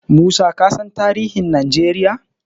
Musa kasan tarihin Najeriya?